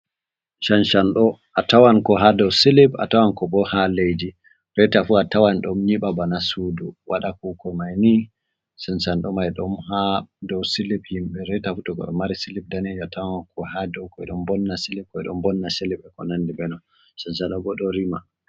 Shanshanɗo, a tawan ko haa dow silib, a tawanko boo haa leydi, reeta fuu a tawana ɗon nyiɓa bana suudu, waɗa kuuko mayni, Shanshanɗo may ɗon haa dow silib himɓe, reeta fuu a tawan to goɗɗo mayri silib daneejum, a yawan ko haa dow, ɓe ɗo mbonna silib, ɓe ɗon mbonna silib ko nanndi bee maajum. Shanshaɗo boo to wari maɓɓutugo.